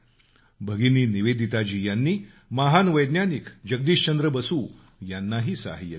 भगिनी निवेदिताजी यांनी महान वैज्ञानिक जगदीशचंद्र बसू यांनाही सहाय्य केलं